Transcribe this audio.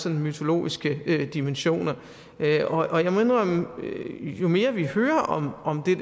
mytologiske dimensioner og jeg må indrømme at jo mere vi hører om det